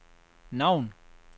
navn